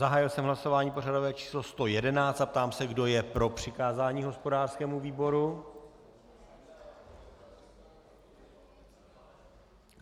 Zahájil jsem hlasování pořadové číslo 111 a ptám se, kdo je pro přikázání hospodářskému výboru.